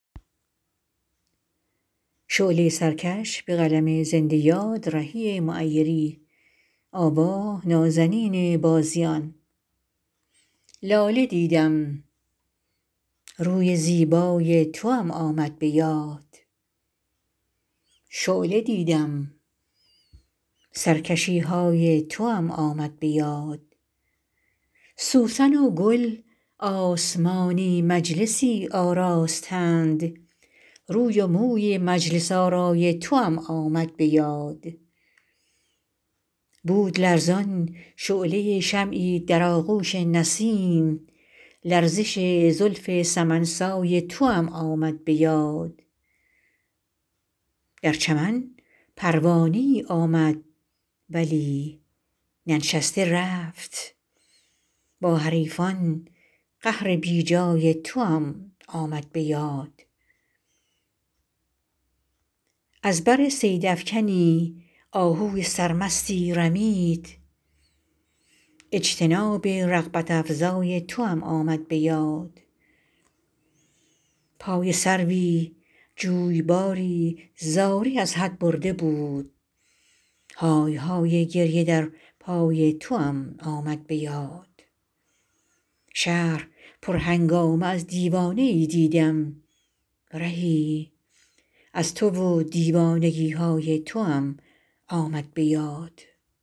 لاله دیدم روی زیبای توام آمد به یاد شعله دیدم سرکشی های توام آمد به یاد سوسن و گل آسمانی مجلسی آراستند روی و موی مجلس آرای توام آمد به یاد بود لرزان شعله شمعی در آغوش نسیم لرزش زلف سمن سای توام آمد به یاد در چمن پروانه ای آمد ولی ننشسته رفت با حریفان قهر بی جای توام آمد به یاد از بر صیدافکنی آهوی سرمستی رمید اجتناب رغبت افزای توام آمد به یاد پای سروی جویباری زاری از حد برده بود های های گریه در پای توام آمد به یاد شهر پرهنگامه از دیوانه ای دیدم رهی از تو و دیوانگی های توام آمد به یاد